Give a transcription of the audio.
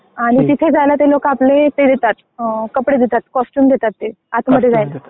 आणि तिथे जायला ते लोकं आपले ते देतात कपडे देतात कॉस्च्युम देतात ते आत मध्ये जायला.